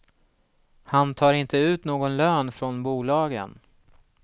Han tar inte ut någon lön från bolagen.